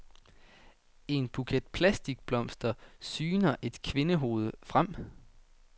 I en buket plastikblomster syner et kvindehoved frem.